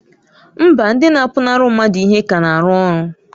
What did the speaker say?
Mba! ndị na-apụnara mmadụ ihe ka na-arụ ọrụ.